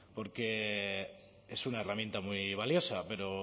porque es una herramienta muy valiosa pero